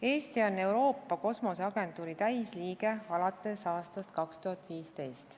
Eesti on Euroopa Kosmoseagentuuri täisliige alates aastast 2015.